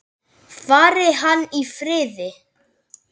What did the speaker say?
Fari hann í friði.